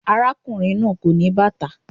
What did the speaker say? Arákùnrin náà kò ní bàtà.